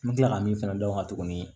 N bɛ tila ka min fɛnɛ dɔn ka tuguni